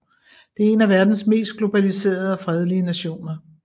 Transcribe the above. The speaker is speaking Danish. Det er en af verdens mest globaliserede og fredelige nationer